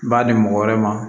B'a di mɔgɔ wɛrɛ ma